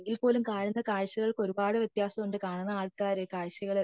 അല്ലെങ്കിൽ പോലും കാണുന്ന കാഴ്ചകൾക് ഒരുപാട് വത്യാസം ഉണ്ട് കാണുന്ന ആൾക്കാര് കാണുന്ന കാഴ്ചകൾ